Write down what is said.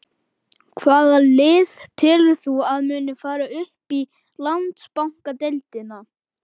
Hvaða lið telur þú að muni fara upp í Landsbankadeildina?